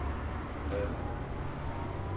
bladr